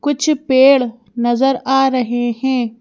कुछ पेड़ नजर आ रहे हैं।